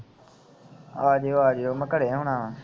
ਆ ਜਾਇਓ ਆ ਜਾਇਓ ਮੈਂ ਘਰੇ ਹੋਣਾ ਵਾ